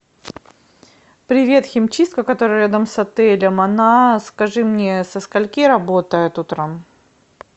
привет химчистка которая рядом с отелем она скажи мне со скольки работает утром